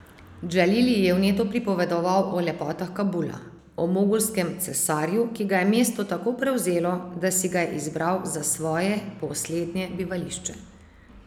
Džalil ji je vneto pripovedoval o lepotah Kabula, o mogulskem cesarju, ki ga je mesto tako prevzelo, da si ga je izbral za svoje poslednje bivališče.